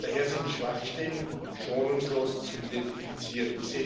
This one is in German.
Daher sind Schwachstellen schonungslos zu identifizieren.